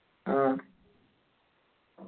ആ